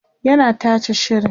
yana tace shirin